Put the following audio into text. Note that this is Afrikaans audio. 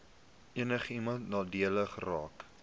enigiemand nadelig geraak